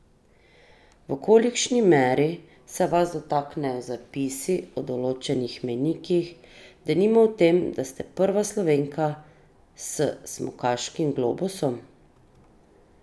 V kolikšni meri se vas dotaknejo zapisi o določenih mejnikih, denimo o tem, da ste prva Slovenka s smukaškim globusom?